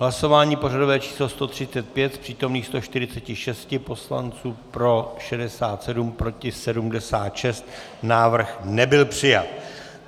Hlasování pořadové číslo 135: z přítomných 146 poslanců pro 67, proti 76, návrh nebyl přijat.